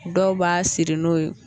Dɔw b'a siri n'o ye